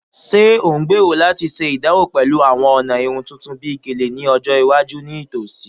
Ṣe o ngbero lati ṣe idanwo pẹlu awọn ọna irun tuntun bi Gele ni ọjọ iwaju nitosi?